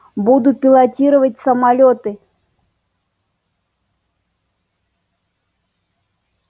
буду пилотировать самолёты